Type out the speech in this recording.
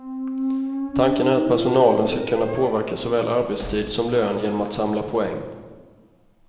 Tanken är att personalen ska kunna påverka såväl arbetstid som lön genom att samla poäng.